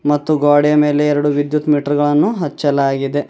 ಮತ್ತು ಗೋಡೆ ಮೇಲೆ ಎರಡು ವಿದ್ಯುತ್ ಮೀಟರ ಗಳನ್ನು ಹಚ್ಚಲಾಗಿದೆ.